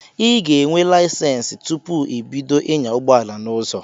I ga enwe layisensi tụpụ ibido ịnya ụgbọala n'ụzọ